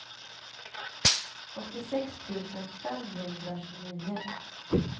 åttiosex tusen femhundratjugonio